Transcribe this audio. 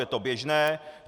Je to běžné.